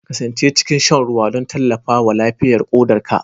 Kasance cikin shan ruwa don tallafawa lafiyar ƙodarka